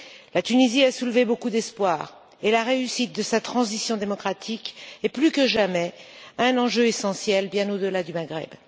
La Tunisie a soulevé beaucoup d'espoirs et la réussite de sa transition démocratique est plus que jamais un enjeu essentiel, bien au delà du Maghreb.